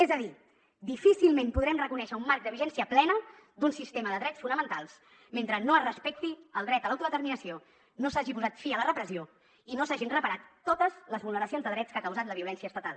és a dir difícilment podrem reconèixer un marc de vigència plena d’un sistema de drets fonamentals mentre no es respecti el dret a l’autodeterminació no s’hagi posat fi a la repressió i no s’hagin reparat totes les vulneracions de drets que ha causat la violència estatal